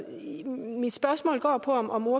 mit spørgsmål går på om om